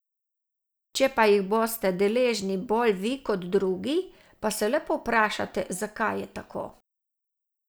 Če pa jih boste deležni bolj vi kot drugi, pa se le povprašajte, zakaj je tako.